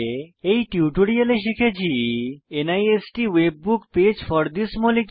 এই টিউটোরিয়ালে শিখেছি NIST webbook page for this molecule